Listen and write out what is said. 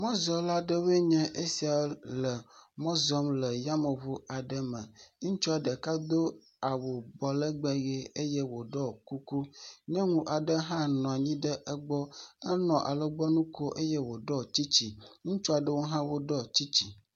Mɔzɔla aɖewoe nye sia le mɔ zɔm le yameŋu aɖe me. Ŋutsu ɖeka do awu bɔlɛgbɛ ʋe eye wòɖɔ kuku. Nyɔnu aɖe hã nɔ anyi ɖe egbɔ. Enɔ alɔgbɔnu ko eye wòɖɔ tsitsi. Ŋutsu aɖewo hã woɖɔ tsitsi